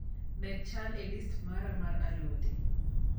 Med chal e listi mara mar alode